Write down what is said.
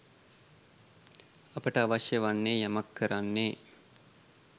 අපට අවශ්‍ය වන්නේ යමක් කරන්නේ